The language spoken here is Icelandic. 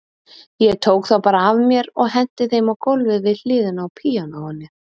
Ég tók þá bara af mér og henti þeim á gólfið við hliðina á píanóinu.